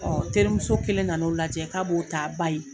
teri muso kelen na n'o lajɛ k'a b'o t'a ba ye.